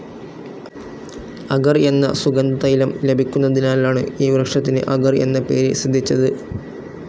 അഗർ എന്ന സുഗന്ധതൈലം ലഭിക്കുന്നതിനാലാണ് ഈ വൃക്ഷത്തിന് അഗർ എന്ന പേര് സിദ്ധിച്ചത്.